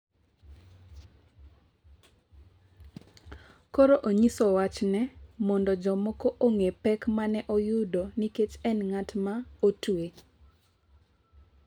Koro onyiso wachne mondo jomoko ong’e pek ma ne oyudo nikech ne en ng’at ma otwe.